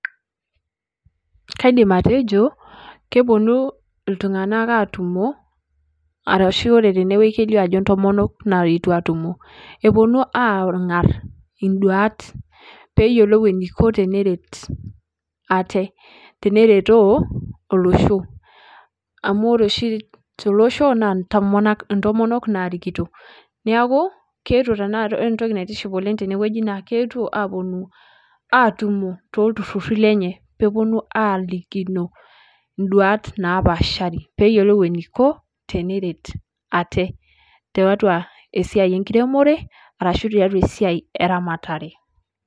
Kaidim atejo, keponu iltung'anak atumo, arashu ore tenewoi kelio ajo intomonok naetuo atumo. Eponu ang'ar iduat, peyiolou eniko teneret ate. Teneretoo, olosho. Amu ore oshi tolosho, na intomonok narikito. Neeku, keetuo tanakata, ore entoki naitiship oleng tenewueji naa, keetuo aponu atumo, tolturrurri lenye. Peponu alikino iduat napaashari. Peyiolou eniko, teneret ate, tiatua esiai enkiremore, arashu tiatu esiai eramatare.